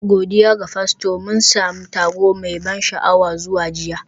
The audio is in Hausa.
Godiya ga Fasto, mun sami taro mai ban sha'awa zuwa jiya